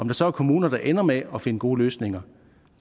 der så er kommuner der ender med at finde gode løsninger